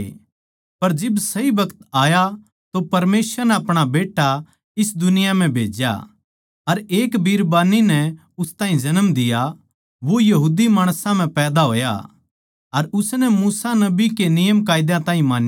पर जिब सही बखत आया तो परमेसवर नै अपणा बेट्टा इस दुनिया म्ह भेज्या अर एक बीरबानी नै उस ताहीं जन्म दिया वो यहूदी माणसां म्ह पैदा होया अर उसनै मूसा के नियमकायदा ताहीं मान्या